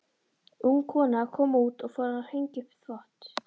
Ung kona kom út og fór að hengja upp þvott.